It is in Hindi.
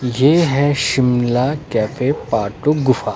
ये है शिमला कैफे पार्ट टू गुफा।